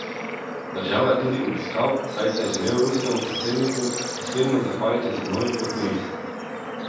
Državo je tudi obiskal, saj se je želel ruskemu predsedniku osebno zahvaliti za novi potni list.